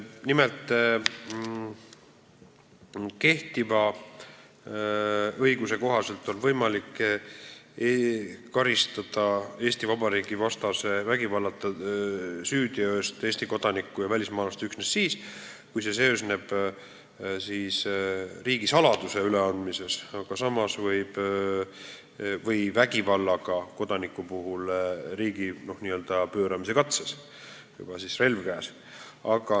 Nimelt, kehtiva õiguse kohaselt on võimalik karistada Eesti kodanikku ja välismaalast Eesti Vabariigi vastase vägivallata süüteo eest üksnes siis, kui see seisneb riigisaladuse üleandmises, või kodanikku vägivaldse teo, n-ö riigipööramise katse eest, kui tal on juba relv käes.